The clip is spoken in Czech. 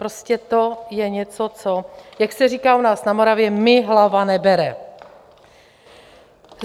Prostě to je něco, co - jak se říká u nás na Moravě - mi hlava nebere.